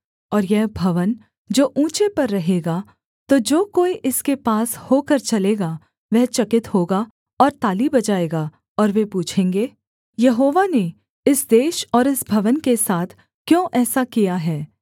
और यह भवन जो ऊँचे पर रहेगा तो जो कोई इसके पास होकर चलेगा वह चकित होगा और ताली बजाएगा और वे पूछेंगे यहोवा ने इस देश और इस भवन के साथ क्यों ऐसा किया है